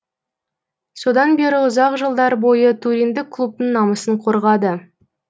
содан бері ұзақ жылдар бойы туриндік клубтың намысын қорғады